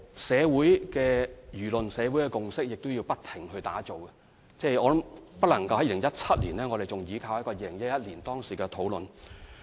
社會的輿論和共識亦要不停醞釀，不能在2017年時仍依靠2011年的討論作為基礎。